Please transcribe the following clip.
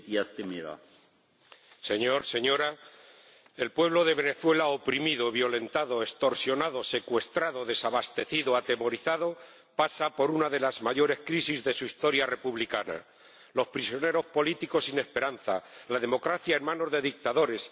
Señor Presidente, señora Mogherini el pueblo de Venezuela, oprimido, violentado, extorsionado, secuestrado, desabastecido, atemorizado, pasa por una de las mayores crisis de su historia republicana. Los prisioneros políticos, sin esperanza la democracia, en manos de dictadores